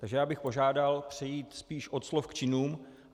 Takže bych požádal přejít spíš od slov k činům.